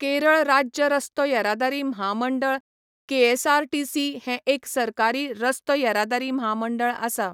केरळ राज्य रस्तो येरादारी म्हामंडळ केएसआरटीसी हें एक सरकारी रस्तो येरादारी म्हामंडळ आसा.